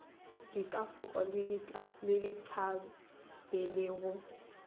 dikafoko le dithabe le go